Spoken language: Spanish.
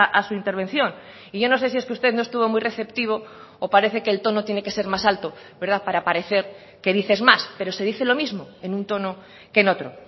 a su intervención y yo no sé si es que usted no estuvo muy receptivo o parece que el tono tiene que ser más alto para parecer que dices más pero se dice lo mismo en un tono que en otro